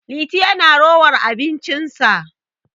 Liti yana rowar abincinsa